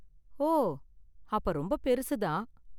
ஓ, அப்ப ரொம்ப பெருசு தான்.